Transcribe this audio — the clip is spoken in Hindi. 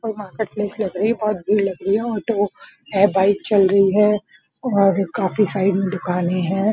और मार्केट प्लेस लग रही है बहुत भीड़ लग रही है ऑटो है बाइक चल रही है और काफी सारे दुकानें हैं।